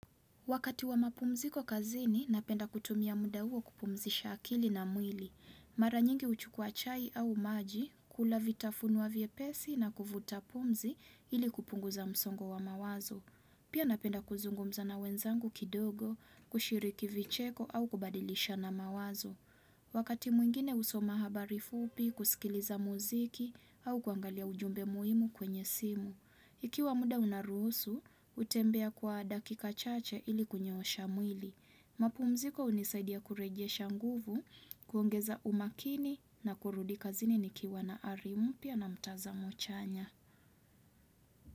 Wakati wa mapumziko kazini, napenda kutumia mda uo kupumzisha akili na mwili. Mara nyingi uchukua chai au maji, kula vitafunwa vyepesi na kuvuta pumzi ili kupunguza msongo wa mawazo. Pia napenda kuzungumza na wenzangu kidogo, kushiriki vicheko au kubadilisha na mawazo. Wakati mwingine usoma habari fupi, kusikiliza muziki au kuangalia ujumbe muhimu kwenye simu. Ikiwa muda unaruhusu, utembea kwa dakika chache ili kunyoosha mwili. Mapumziko unisaidia kurejesha nguvu, kuongeza umakini na kurudi kazini nikiwa na ari mpya na mtazamo chanya.